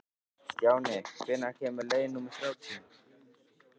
Stjáni, hvenær kemur leið númer þrjátíu?